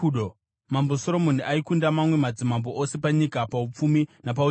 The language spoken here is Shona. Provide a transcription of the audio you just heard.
Mambo Soromoni aikunda mamwe madzimambo ose panyika paupfumi napauchenjeri.